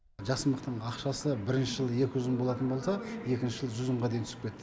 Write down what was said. жасымықтың ақшасы бірінші жылы екі жүз мың болатын болса екінші жылы жүз мыңға дейін түсіп кетті